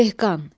Dehqan.